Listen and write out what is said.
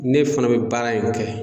Ne fana bɛ baara in kɛ